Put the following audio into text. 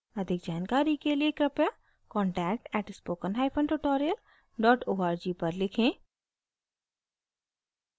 अधिक जानकारी के लिए कृपया contact at spoken hyphen tutorial dot org पर लिखें